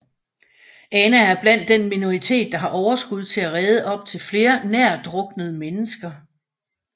Ana er blandt den minoritet der har overskud til at redde op til flere nærtdruknet mennesker